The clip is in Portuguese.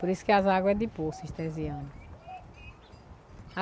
Por isso que as águas é de Poço Estesiano.